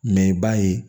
Mɛ i b'a ye